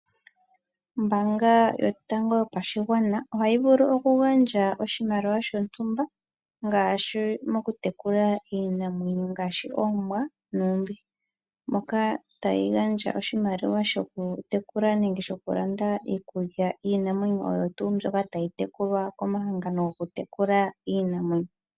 Ombanga yotango yopashingwana yaNamibia ohayi vulu oku gandja oshimaliwa shontumba shokutekula iinamwenyo ngaashi oombwa nuumbishi , moka tayi gandja oshimaliwa shokutekula nenge shoku landa iikulya yiinamwenyo oyo tuu ndjoka tayi tekulwa komahangano gokutekula iinamwenyo mbika.